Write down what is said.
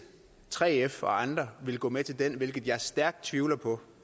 3f og andre ville gå med til det hvilket jeg stærkt tvivler på